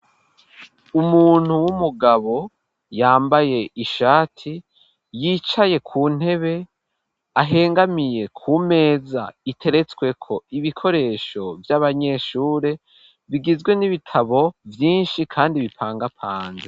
Umuntu w'umugabo yambaye ishati yicaye ku ntebe ahengamiye ku meza iteretsweko ibikoresho vy'abanyeshure bigizwe n'ibitabo vyinshi kandi bipangapanze.